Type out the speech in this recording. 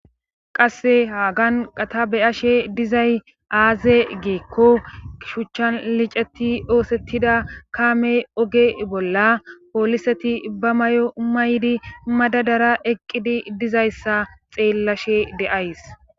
Qasse haagan qata beyashe dizay aaze geekko shuchchan liceti oosettida kaame oge bolla pooliseti ba may'o maydi madadara eqqidi dizayssa xeellashe de'ays.